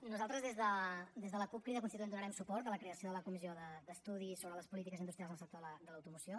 nosaltres des de la cup crida constituent donarem suport a la creació de la comissió d’estudi sobre les polítiques industrials al sector de l’automoció